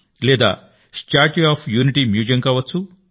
లేదా statue of unity museum కావచ్చు